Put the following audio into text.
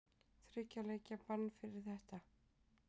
Þriggja leikja bann fyrir þetta?